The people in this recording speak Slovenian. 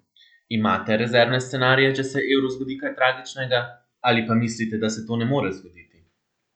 Imate rezervne scenarije, če se evru zgodi kaj tragičnega, ali pa mislite, da se to ne more zgoditi?